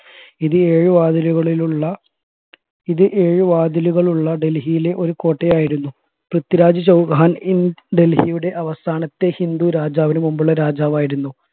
ഇത് ഏഴു വാതിലുകളിലുള്ള ഇത് ഏഴ് വാതിലുകൾ ഉള്ള ഡൽഹിയിലെ ഒരു കോട്ടയായിരുന്നു പൃഥ്വിരാജ് ചൗഹാൻ ഡൽഹിയുടെ അവസാനത്തെ ഹിന്ദു രാജാവിന് മുമ്പുള്ള രാജാവായിരുന്നു